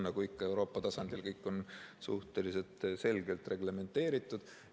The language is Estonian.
Nagu ikka Euroopa tasandil on kõik suhteliselt selgelt reglementeeritud.